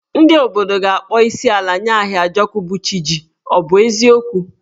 Ndị obodo ga-akpọ isiala nye Ahịajọkụ, bụ́ chi jì, ọ bụ eziokwu?